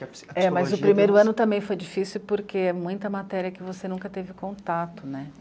É, mas o primeiro ano também foi difícil porque é muita matéria que você nunca teve contato, né?